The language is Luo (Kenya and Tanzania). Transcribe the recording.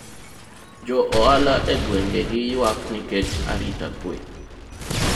jo ohala e gwenge gi ywak nikech arita kwe